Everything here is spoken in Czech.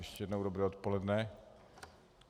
Ještě jednou dobré odpoledne.